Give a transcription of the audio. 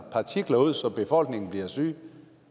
partikler ud så befolkningen bliver syge